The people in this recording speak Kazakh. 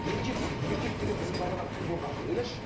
еркексің еркек деген біздің бабалар кім болған ойлашы